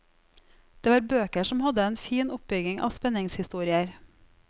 Det var bøker som hadde en fin oppbygging av spenningshistorier.